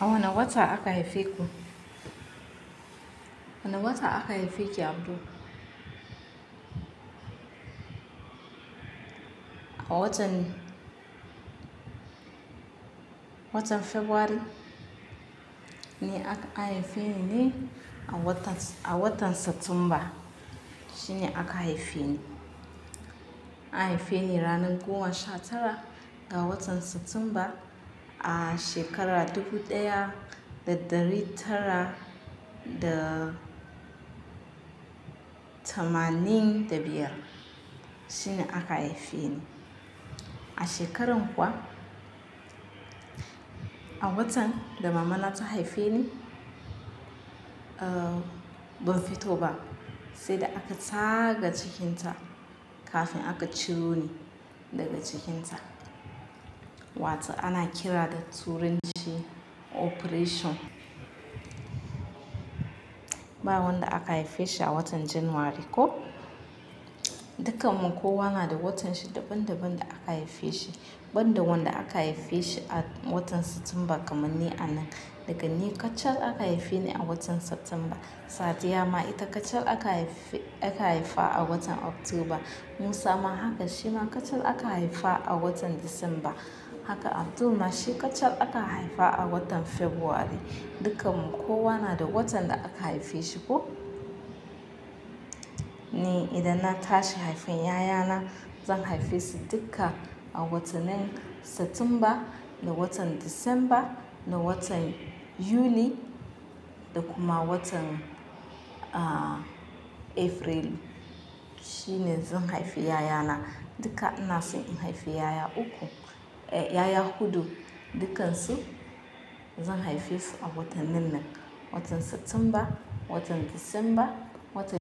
A wane wata aka haife ku? Wane wata aka haife ki Abdu? A watan, watan February ne a, an haife ni ne a watan, a watan Satumba shine aka haife ni. An haife ni ranar goma sha tara ga watan Satumba a shekara dubu ɗaya da ɗari tara da tamanin da biyar shine aka haife ni. A shekaran kuwa, a watan da mama nata haife ni, ah ban fito ba sai da aka tsaga cikinta kafin aka ciro ni daga cikinta. Wato ana kira da turanci Operation. Ba wanda aka haife shi a watan January ko? Dukkanmu kowa na da watan shi daban daban da aka haife shi. Ban da wanda aka haife shi a watan Satumba kamar ni a nan. Da gani kacal aka haife ni a watan Satumba. Sadiya ma ita kacal aka haife, aka haifa a watan Oktoba. Musa ma haka shi ma kacal aka haifa a watan Disamba. Haka Abdul ma shi kacal aka haifa a watan February. Dukkanmu kowa na da watan da aka haife shi ko? Ni idan na tashi haifen 'ya'ya na, zan haife su duka a watanen Satumba da watan Disamba da watan Yuli da kuma watan ah April shine zan haifi 'ya'ya na. Duka ina so in haifi 'ya'ya uku, eh 'ya'ya huɗu, dukkansu zan haife su a watannin nan, watan Satumba, watan Disamba, watan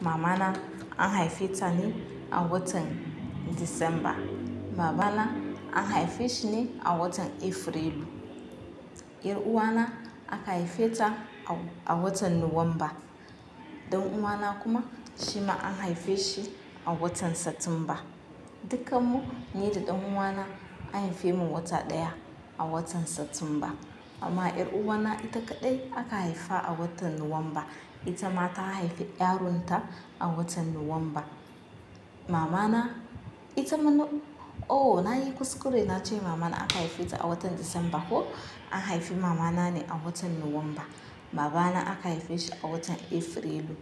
Mama na an haife ta ne a watan Disamba. Baba na an haife shi ne a watan Afrilu. 'Yar'uwa na aka haife ta a-a watan Nuwamba. Dan'uwana kuma shi ma an haife shi a watan Satumba. Dukkanmu ni da dan'uwana an haife mu wata ɗaya a watan Satumba. Amma 'yar'uwa na ita kaɗai aka haifa a watan Nuwamba. Ita ma ta haifi yaronta a watan Nuwamba. Mama na, ita mana-- oh nayi kuskure na ce mama na aka haife ta a watan Disamba ko? An haifi mama na ne a watan Nuwamba. Baba na aka haife shi a watan Afrilu.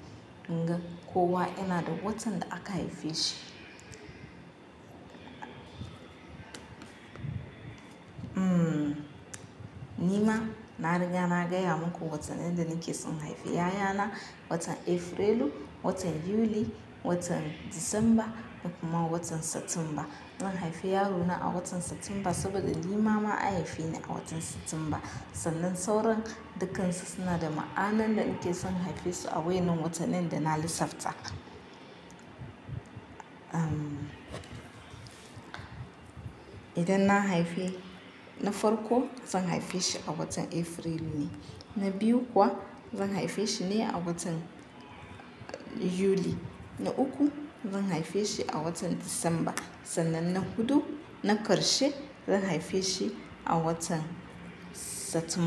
Dinga kowa yana da watan da aka haife shi. Hmm ni ma na riga na gaya muku watannin da nake son haifi ƴaƴa na. Watan Afrilu, watan Yuli, watan Disamba kuma watan Satumba. Zan haifi yaro na a watan Satumba saboda ni mama an haife ni a watan Satumba. Sannan sauran dukkansu suna da ma'anar da nake son haife su a wayannan watannin da na lissafta. Ah idan na haife na farko zan haife shi a watan Afrilu ne. Na biyu kuwa zan haife shi ne a watan Yuli. Na uku zan haife shi a watan Disamba. Sannan na huɗu na karshe zan haife shi a watan Satum.